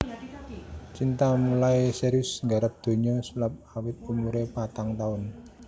Cinta mulai serius nggarap donya sulap awit umuré patang taun